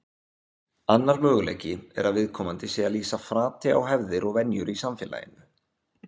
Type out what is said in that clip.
Annar möguleiki er að viðkomandi sé að lýsa frati á hefðir og venjur í samfélaginu.